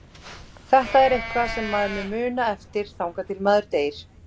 Þetta er eitthvað sem maður mun muna eftir þangað til maður deyr.